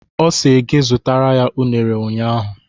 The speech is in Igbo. Ọ sị gị zụtara ya unere ụnyaahụ.